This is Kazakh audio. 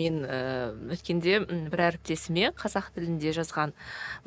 мен ііі өткенде бір әріптесіме қазақ тілінде жазған